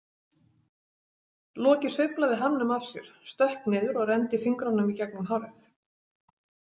Loki sveiflaði hamnum af sér, stökk niður og renndi fingrunum í gegnum hárið.